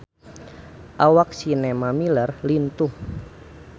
Awak Sienna Miller lintuh